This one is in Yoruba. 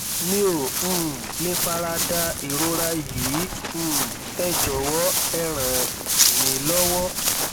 mi ò um lè fara da ìrora yìí um ẹ jọwọ ẹ ràn mí lọwọ